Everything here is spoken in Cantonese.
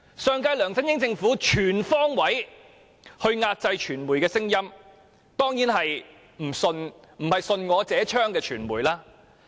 上屆梁振英政府全方位壓制傳媒的聲音——當然不是那些順我者昌的傳媒。